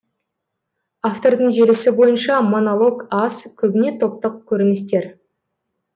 автордың желісі бойынша монолог аз көбіне топтық көріністер